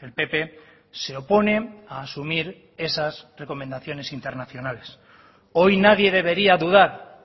el pp se opone a asumir esas recomendaciones internacionales hoy nadie debería dudar